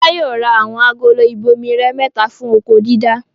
Fọlá yóò ra àwọn agolo ìbomirẹ mẹ́ta fún oko-dídá.